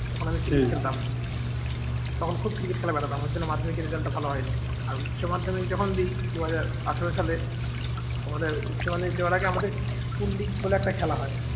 তখন খুব cricket খেলা দেখতাম ওর জন্য মাধ্যমিকের result টা ভালো হয়নি আর উচ্চমাধ্যমিক যখন দেই দুই হাজার আঠারো সালে উচ্চ মাধ্যমিক দেওয়ার আগে আমাদের শুন্ডিক বলে একটা খেলা হয়।